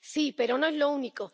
Sí, pero no es lo único